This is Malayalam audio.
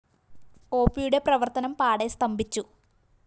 ഒപിയുടെ പ്രവര്‍ത്തനം പാടെ സ്തംഭിച്ചു